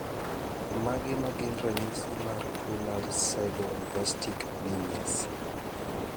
Mage magin ranyisi mag tuo mar Sideroblastic anemias?